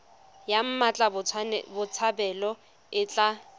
ya mmatla botshabelo e tla